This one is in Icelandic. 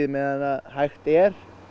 meðan hægt er